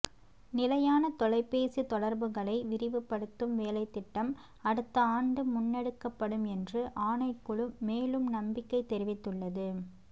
நிலையான தொலைபேசி தொடர்புகளை விரிவுபடுத்தும் வேலைத்திட்டம் அடுத்த ஆண்டு முன்னெடுக்கப்படும் என்று ஆணைக்குழு மேலும் நம்பிக்கை தெரிவித்துள்ளது